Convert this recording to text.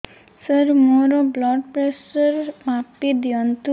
ସାର ମୋର blood pressure ମାପି ଦିଅନ୍ତୁ